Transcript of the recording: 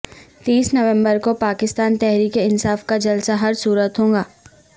تیس نومبر کو پاکستان تحریک انصاف کا جلسہ ہر صورت ہو گا